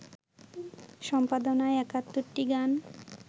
সম্পাদনায় ৭১টি গান